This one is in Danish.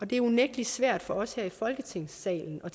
det er unægtelig svært for os her i folketingssalen at